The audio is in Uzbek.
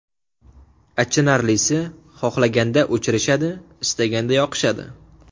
Achinarlisi xohlaganda o‘chirishadi, istaganda yoqishadi.